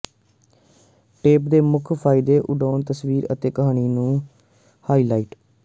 tape ਦੇ ਮੁੱਖ ਫਾਇਦੇ ਉਡਾਉਣ ਤਸਵੀਰ ਅਤੇ ਕਹਾਣੀ ਨੂੰ ਹਾਈਲਾਈਟ